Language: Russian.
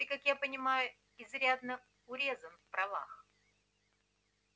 ты как я понимаю изрядно урезан в правах